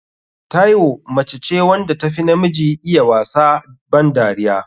Taiwo mace ce wanda tafi namiji iya wasa ban dariya.